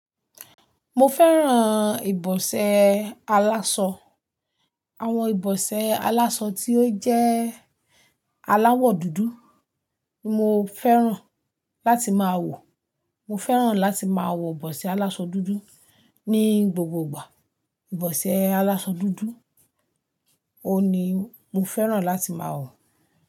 Mo fẹ́ràn ìbọsẹ̀ aláṣọ. Àwọn ìbọsẹ̀ aláṣọ tí ó jẹ́ aláwọ̀ dúdú ni mo fẹ́ràn láti máa wọ̀. Mo fẹ́ràn láti máa wọ ìbọsẹ̀ aláṣọ dúdú ní gbogbo ìgbà. Ìbọsẹ̀ aláṣọ dúdú òun ní mo fẹ́ràn láti máa wọ̀.